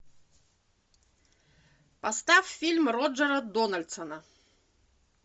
поставь фильм роджера дональдсона